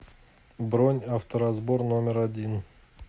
бронь авторазбор номер один